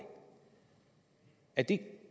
er det